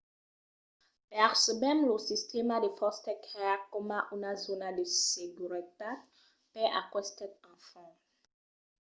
percebèm lo sistèma de foster care coma una zòna de seguretat per aquestes enfants